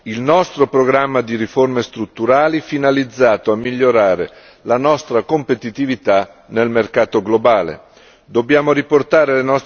Dobbiamo stimolare il nostro programma di riforme strutturali finalizzato a migliorare la nostra competitività nel mercato globale.